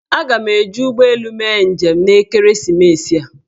Aga m eji ụgbọelu mee njem n'ekeresimesi a